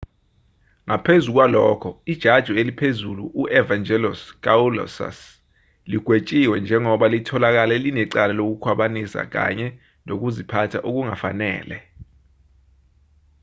ngaphezu kwalokho ijaji eliphezulu u-evangelos kalousus ligwetshiwe njengoba litholakale linecala lokukhwabanisa kanye nokuziphatha okungafanele